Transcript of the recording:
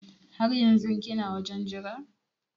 Har yanzun kina wajen Jira?